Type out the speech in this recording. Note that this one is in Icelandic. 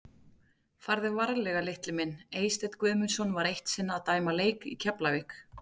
Farðu varlega litli minn Eysteinn Guðmundsson var eitt sinn að dæma leik í Keflavík.